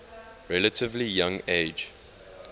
relatively young age